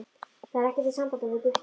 Það er ekkert í sambandi við Gutta.